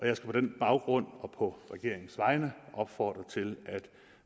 jeg skal på den baggrund og på regeringens vegne opfordre til at